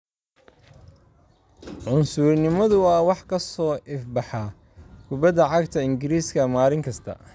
Cunsurinimadu waa wax ka soo ifbaxaya kubbadda cagta Ingiriiska maalin kasta.